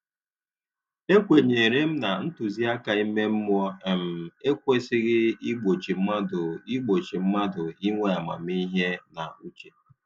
E kwenyere m na ntụziaka ime mmụọ um ekwesịghị i gbochi mmadụ i gbochi mmadụ inwe amamihe na uche